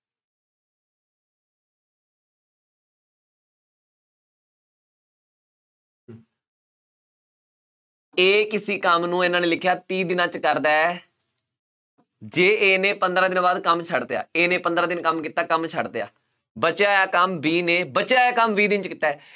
a ਕਿਸੇ ਕੰਮ ਨੂੰ ਇਹਨਾਂ ਨੇ ਲਿਖਿਆ ਤੀਹ ਦਿਨਾਂ ਵਿੱਚ ਕਰਦਾ ਹੈ ਜੇ a ਨੇ ਪੰਦਰਾਂ ਦਿਨਾਂ ਬਾਅਦ ਕੰਮ ਛੱਡ ਦਿੱਤਾ a ਨੇ ਪੰਦਰਾਂ ਦਿਨ ਕੰਮ ਕੀਤਾ ਕੰਮ ਛੱਡ ਦਿੱਤਾ ਬਚਿਆ ਹੋਇਆ ਕੰਮ b ਨੇ ਬਚਿਆ ਹੋਇਆ ਕੰਮ ਵੀਹ ਦਿਨ 'ਚ ਕੀਤਾ ਹੈ